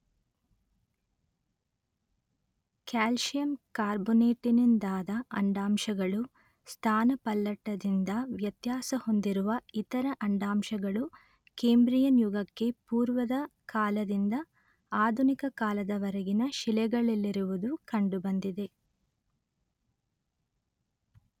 calcium ಕಾರ್ಬೊನೇಟಿನಿಂದಾದ ಅಂಡಾಂಶಗಳೂ ಸ್ಥಾನಪಲ್ಲಟದಿಂದ ವ್ಯತ್ಯಾಸಹೊಂದಿರುವ ಇತರ ಅಂಡಾಂಶಗಳೂ ಕೇಂಬ್ರಿಯನ್ ಯುಗಕ್ಕೆ ಪೂರ್ವದ ಕಾಲದಿಂದ ಆಧುನಿಕ ಕಾಲದವರೆಗಿನ ಶಿಲೆಗಳಲ್ಲಿರುವುದು ಕಂಡುಬಂದಿದೆ